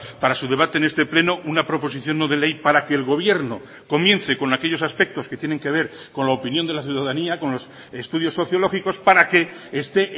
para su debate en este pleno una proposición no de ley para que el gobierno comience con aquellos aspectos que tienen que ver con la opinión de la ciudadanía con los estudios sociológicos para que esté